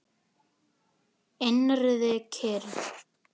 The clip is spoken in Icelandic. Innri kyrrð.